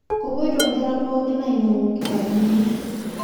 Kopoito nkera pookin ainyangu nkitabuni